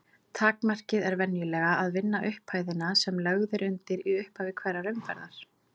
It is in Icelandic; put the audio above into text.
Takmarkið er venjulega að vinna upphæðina sem lögð er undir í upphafi hverrar umferðar.